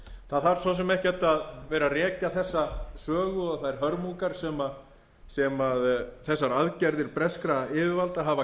það þarf svo sem ekkert að vera að rekja þessa sögu og þær hörmungar sem þessar aðgerðir breskra yfirvalda hafa